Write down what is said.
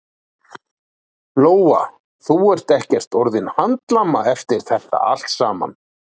Lóa: Þú ert ekkert orðinn handlama eftir þetta allt saman?